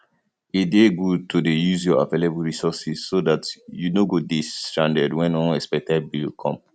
e dey good to dey use your available resources so dat you no go dey stranded wen unexpected bill come